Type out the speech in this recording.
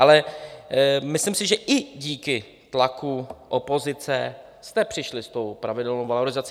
Ale myslím si, že i díky tlaku opozice jste přišli s tou pravidelnou valorizací.